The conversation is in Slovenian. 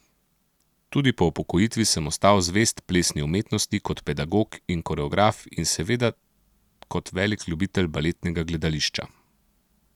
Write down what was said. Tudi po upokojitvi sem ostal zvest plesni umetnosti kot pedagog in koreograf in seveda kot velik ljubitelj baletnega gledališča.